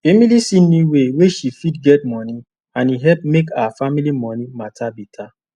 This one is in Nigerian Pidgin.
emily see new way wey she fit get money and e help make her family money matter better